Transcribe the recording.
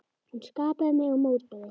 Hún skapaði mig og mótaði.